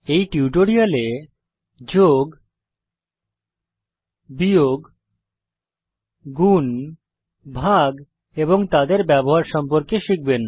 এই টিউটোরিয়ালে যোগ বিয়োগ গুন ভাগ এবং তাদের ব্যবহার সম্পর্কে শিখব